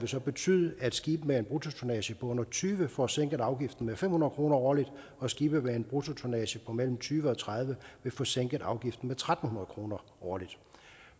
vil så betyde at skibe med en bruttotonnage på under tyve får sænket afgiften med fem hundrede kroner årligt og skibe med en bruttotonnage på mellem tyve og tredive vil få sænket afgiften tre hundrede kroner årligt